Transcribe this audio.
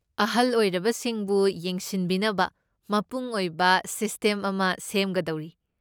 ꯑꯍꯜ ꯑꯣꯏꯔꯕꯁꯤꯡꯕꯨ ꯌꯦꯡꯁꯤꯟꯕꯤꯅꯕ ꯃꯄꯨꯡ ꯑꯣꯏꯕ ꯁꯤꯁꯇꯦꯝ ꯑꯃ ꯁꯦꯝꯒꯗꯧꯔꯤ꯫